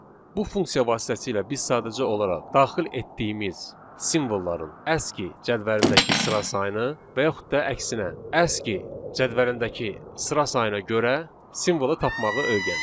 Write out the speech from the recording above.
Bu funksiya vasitəsilə biz sadəcə olaraq daxil etdiyimiz simvolların aski cədvəlindəki sıra sayını və yaxud da əksinə aski cədvəlindəki sıra sayına görə simvolu tapmağı öyrəndik.